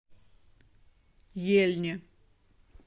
ельне